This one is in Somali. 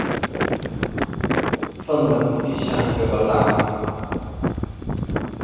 fadlan ii sharax gabbal dhacan